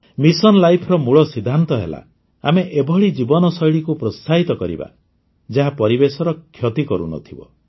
mission ଲାଇଫ୍ର ମୂଳ ସିଦ୍ଧାନ୍ତ ହେଲା ଆମେ ଏଭଳି ଜୀବନଶୈଳୀକୁ ପ୍ରୋତ୍ସାହିତ କରିବା ଯାହା ପରିବେଶର କ୍ଷତି କରୁନଥିବ